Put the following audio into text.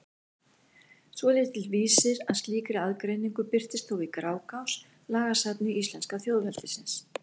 Svolítill vísir að slíkri aðgreiningu birtist þó í Grágás, lagasafni íslenska þjóðveldisins.